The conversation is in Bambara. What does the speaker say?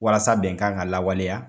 Walasa bɛnkan ka lawaleya